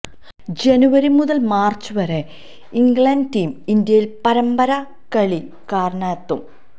ജനുവരി മുതല് മാര്ച്ച് വരെ ഇംഗ്ലണ്ട് ടീം ഇന്ത്യയില് പരമ്പര കളിക്കാനെത്തും